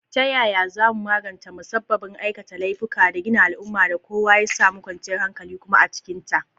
Ta yaya za mu magance musabbabin aikata laifuka da gina al’ummar da kowa ya samu kwanciyar hankali kuma a cikinta?